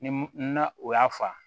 Ni na o y'a fa